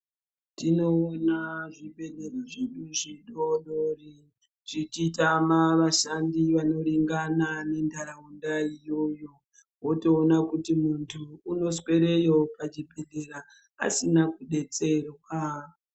Tinoona zvibhedhlera zvedu zvidodori zvichitama vashandi vanoringana nenharaunda iyoyo wotoona kuti muntu unoswereyo pachibhedhleya asina kudetsererwa zvichitama vashandi vanoringana nenharaunda iyoyo wotoona kuti muntu unoswereyo kuchibhedhleya asina kudetsererwa.